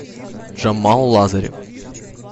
джамал лазарев